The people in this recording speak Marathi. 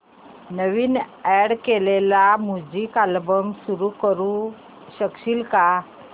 नवीन अॅड केलेला म्युझिक अल्बम सुरू करू शकशील का